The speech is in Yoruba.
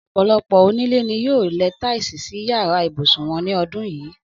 Ọ̀pọ̀lọpọ̀ onílé ni yóò lẹ táìsì sí yàrá ibùsùn wọn ní ọdún yìí